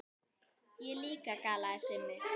Ég líka galaði Simmi.